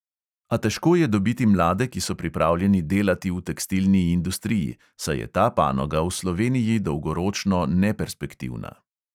A težko je dobiti mlade, ki so pripravljeni delati v tekstilni industriji, saj je ta panoga v sloveniji dolgoročno neperspektivna.